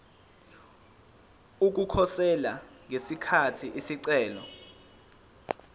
ukukhosela ngesikhathi isicelo